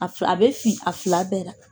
A bɛ fin a fila bɛɛ la